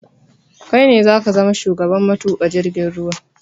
Kai ne zaka zama shugaban matuƙa jirgin ruwa